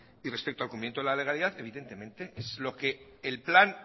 y respecto al cumplimiento de la legalidad evidentemente es lo que el plan